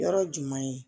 Yɔrɔ jumɛn